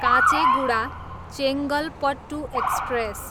Kacheguda, Chengalpattu express